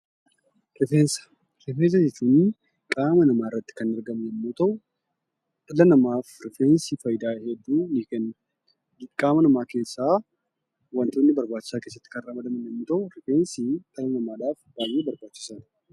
Rifeensa jechuun qaama namaa irratti kan biqilu yemmuu ta'u, dhala namaaf rifeensi faayidaa hedduu ni kenna. Qaama namaa keessaa wantoota barbaachisaa keessatti kan ramadaman yemmuu ta'u, rifeensi dhala namaadhaaf baay'ee barbaachisaadha.